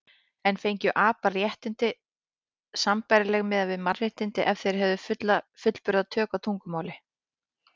En fengju apar réttindi sambærileg við mannréttindi ef þeir hefðu fullburða tök á tungumáli?